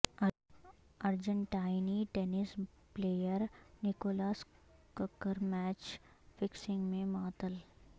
ارجنٹائنی tennis player Nicolas Kicker match fixing میں معطل